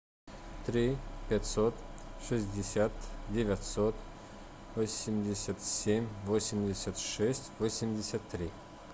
три пятьсот шестьдесят девятьсот восемьдесят семь восемьдесят шесть восемьдесят три